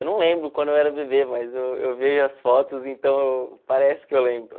Eu não lembro quando eu era bebê, mas eu eu vejo as fotos, então parece que eu lembro.